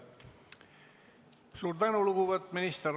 Suur tänu, lugupeetud minister!